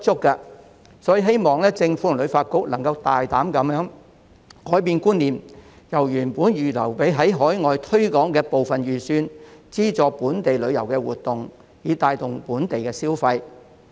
因此，我希望政府及旅發局能大膽改變觀念，把原本預留給海外推廣的部分預算用於資助本地旅遊活動，以帶動本地消費。